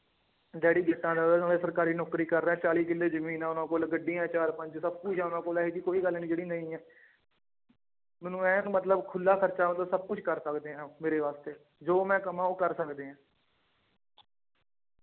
Daddy ਜੱਟਾਂ ਦਾ ਉਹਦਾ ਨਾਲੇ ਸਰਕਾਰੀ ਨੌਕਰੀ ਕਰ ਰਿਹਾ ਚਾਲੀ ਕਿੱਲੇ ਜ਼ਮੀਨ ਹੈ ਉਹਨਾਂ ਕੋਲ ਗੱਡੀਆਂ ਚਾਰ ਪੰਜ ਸਭ ਕੁਛ ਆ ਉਹਨਾਂ ਕੋਲ ਇਹ ਜਿਹੀ ਕੋਈ ਗੱਲ ਨੀ ਜਿਹੜੀ ਨਹੀਂ ਹੈ ਮੈਨੂੰ ਐਨ ਮਤਲਬ ਖੁੱਲਾ ਖ਼ਰਚਾ ਮਤਲਬ ਸਭ ਕੁਛ ਕਰ ਸਕਦੇ ਹਾਂ ਮੇਰੇ ਵਾਸਤੇ ਜੋ ਮੈਂ ਕਵਾਂ ਉਹ ਕਰ ਸਕਦੇ ਹੈ।